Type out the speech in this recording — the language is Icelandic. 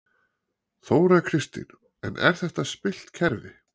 Þóra Kristín: En er þetta spillt kerfi?